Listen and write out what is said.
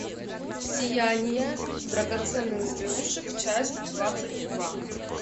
сияние драгоценных зверушек часть двадцать два